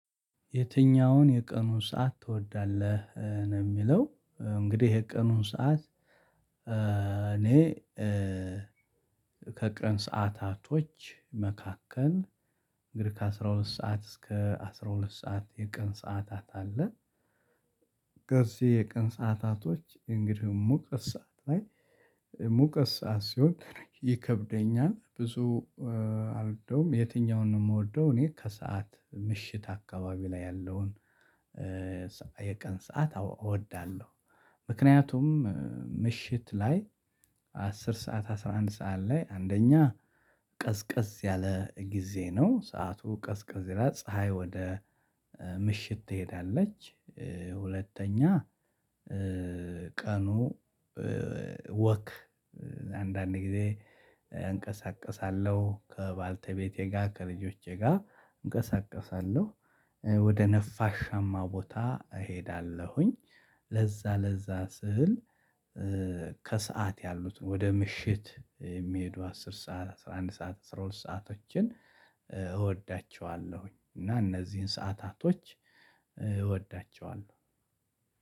የትኛውን የቀኑን ሰዓት ትወዳለህ? ነው የሚለው እንግዲህ የቀኑን ሰዓት እኔ ከቀን ሰዓታቶች መካከል እንግዲህ ከአሥራ ሁለት ሰዓት እስከ አስራ ሁለት ሰዓት የቀን ሰዓታት አለ እነዚህ የቀን ሰዓታቶች እንግዲህ ሙቀት ሰዓት ላይ ሙቀት ሰዓት ሲሆን ይከብደኛል ብዙ አልደውም የትኛውን ነው የምወደው እኔ ከሰአት ምሽት አካባቢ ላይ ያለውን የቀን ሰዓት እወዳለሁ። ምክንያቱም ምሽት ላይ አስር ሰዓት አስራ አንድ ሰዓት ላይ አንደኛ ቀዝቀዝ ያለ ጊዜ ነው ሰዓቱ ቀዝቀዝ ይላል ፀሀይ ወደ ምሽት ትሄዳለች። ሁለተኛ ቀኑ ወክ አንዳንዴ ጊዜ አንቀሳቅሳለሁ ከባልተቤቴ ጋር ከልጆቼ ጋር እንቀሳቀሳለሁ ወደ ነፋሻማ ቦታ እሄዳለሁኝ። ለዛ ለዛ ስህል ከሰአት ያሉት ወደ ምሽት የሚሄዱ አስር ሰዓት አስራ አንድ ሰዓት አስራ ሁለት ሰአቶችን እወዳቸዋለሁ እና እነዚህን ሰዓታቶች እወዳቸዋለሁ።